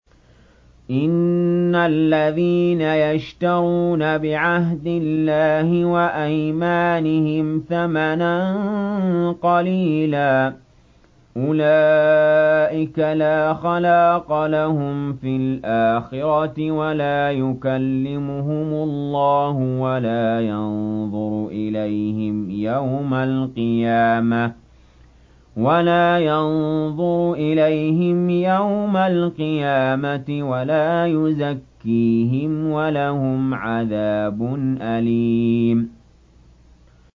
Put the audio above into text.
إِنَّ الَّذِينَ يَشْتَرُونَ بِعَهْدِ اللَّهِ وَأَيْمَانِهِمْ ثَمَنًا قَلِيلًا أُولَٰئِكَ لَا خَلَاقَ لَهُمْ فِي الْآخِرَةِ وَلَا يُكَلِّمُهُمُ اللَّهُ وَلَا يَنظُرُ إِلَيْهِمْ يَوْمَ الْقِيَامَةِ وَلَا يُزَكِّيهِمْ وَلَهُمْ عَذَابٌ أَلِيمٌ